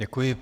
Děkuji.